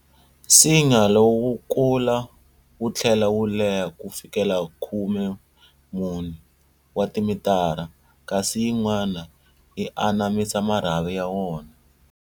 Nsinya lowu wu kula wu thlela wu leha ku fikela khumemune, 14, wa timitara, kasi yin'wana yi anamisa marhavi ya wona.